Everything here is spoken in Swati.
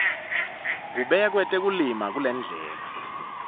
kubekwe tekulima kulendlela